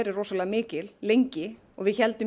rosalega mikil lengi við héldum